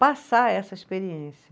Passar essa experiência.